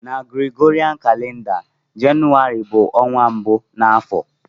Na Gregorian calender, Jenụwarị bu onwa mbu na afo.